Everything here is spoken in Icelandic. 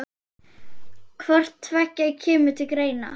Hvort tveggja kemur til greina.